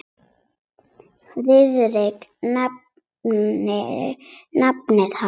Friðrik nefndi nafn hans.